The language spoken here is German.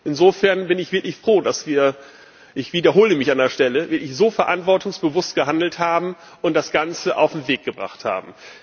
Insofern bin ich wirklich froh, dass wir ich wiederhole mich an der Stelle so verantwortungsbewusst gehandelt haben und das Ganze auf den Weg gebracht haben.